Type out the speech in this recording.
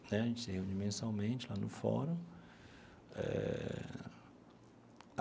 Né a gente se reúne mensalmente lá no fórum eh.